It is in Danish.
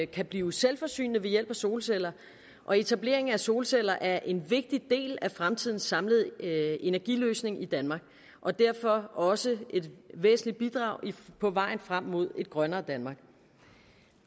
kan blive selvforsynende ved hjælp af solceller og etablering af solceller er en vigtig del af fremtidens samlede energiløsning i danmark og derfor også et væsentligt bidrag på vejen frem mod et grønnere danmark